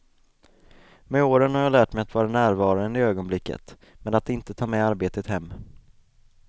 Med åren har jag lärt mig att vara närvarande i ögonblicket, men att inte ta med arbetet hem.